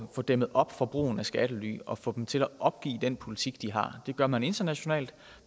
få dæmmet op for brugen af skattely og at få dem til at opgive den politik de har og det gør man internationalt